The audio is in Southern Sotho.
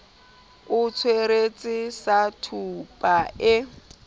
a tsweretse sa tweba e